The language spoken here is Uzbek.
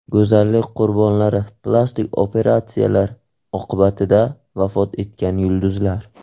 Go‘zallik qurbonlari: Plastik operatsiyalar oqibatida vafot etgan yulduzlar.